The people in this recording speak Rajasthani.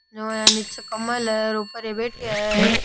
ओय निचे कमल है और ऊपर ये बैठिया है।